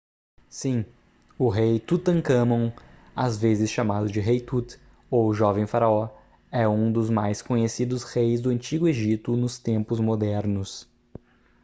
sim o rei tutancâmon às vezes chamado de rei tut ou jovem faraó é um dos mais conhecidos reis do antigo egito nos tempos modernos